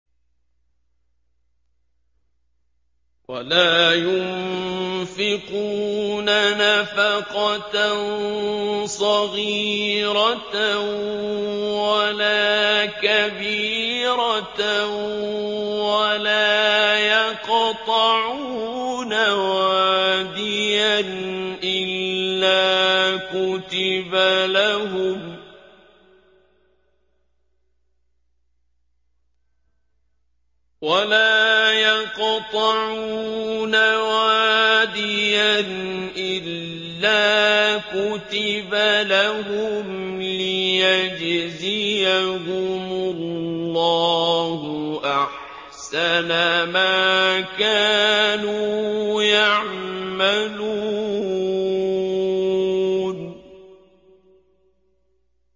وَلَا يُنفِقُونَ نَفَقَةً صَغِيرَةً وَلَا كَبِيرَةً وَلَا يَقْطَعُونَ وَادِيًا إِلَّا كُتِبَ لَهُمْ لِيَجْزِيَهُمُ اللَّهُ أَحْسَنَ مَا كَانُوا يَعْمَلُونَ